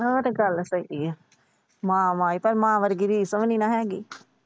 ਉਹ ਤਾਂ ਗੱਲ ਸਹੀ ਏ। ਮਾਂ ਵਰਗੀ ਤਾਂ ਰੀਸ ਵੀ ਨਹੀਂ ਹੇਗੀ।